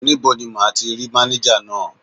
Níbo ni máa ti rí mánéjà náà?